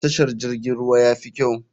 Tashar jirgin ruwa yafi kyau.